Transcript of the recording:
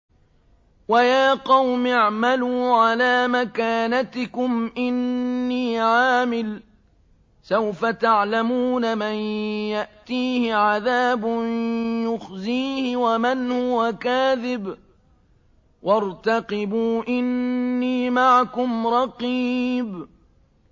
وَيَا قَوْمِ اعْمَلُوا عَلَىٰ مَكَانَتِكُمْ إِنِّي عَامِلٌ ۖ سَوْفَ تَعْلَمُونَ مَن يَأْتِيهِ عَذَابٌ يُخْزِيهِ وَمَنْ هُوَ كَاذِبٌ ۖ وَارْتَقِبُوا إِنِّي مَعَكُمْ رَقِيبٌ